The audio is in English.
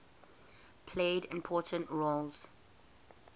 played important roles